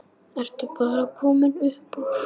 Ertu bara komin upp úr?